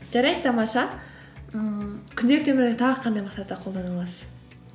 жарайды тамаша ммм күнделікті өмірде тағы қандай мақсатта қолдана аласыз